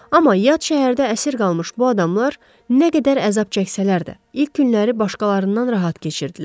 Amma yad şəhərdə əsir qalmış bu adamlar nə qədər əzab çəksələr də, ilk günləri başqalarından rahat keçirtdilər.